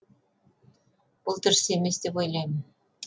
бұл дұрыс емес деп ойлаймын